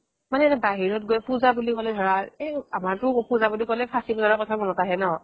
মানে এতিয়া বাহিৰত গৈ পুজা বুলি ক'লে ধৰা এই আমাৰতো পুজা বুলি ক'লে ফাচি বজাৰৰ কথা মনত অহে ন